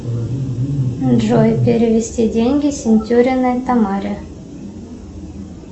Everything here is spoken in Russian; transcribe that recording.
джой перевести деньги сентюриной тамаре